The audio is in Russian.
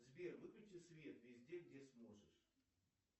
сбер выключи свет везде где сможешь